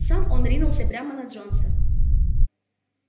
сам он ринулся прямо на джонса